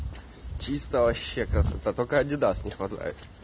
чисто вообще красота только адидас не хватает